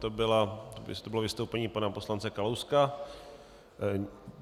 To bylo vystoupení pana poslance Kalouska.